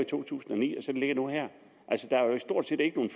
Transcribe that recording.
2009 altså der er jo stort set ikke nogen